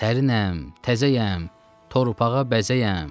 Sərinəm, təzəyəm, torpağa bəzəyəm.